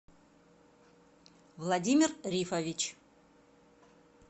владимир рифович